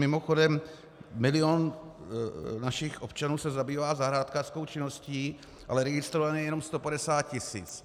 Mimochodem, milion našich občanů se zabývá zahrádkářskou činností, ale registrovaných je jenom 150 tisíc.